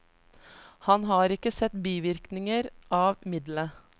Han har ikke sett bivirkninger av middelet.